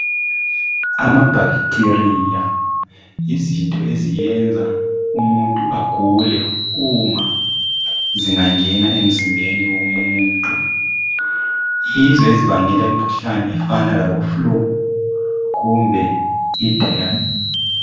Ama bacteria yizinto eziyenza umuntu agule uma zingangena emzimbeni womuntu .Yizo ezibangela imkhuhlane efana labo flu kumbe diarrhoea.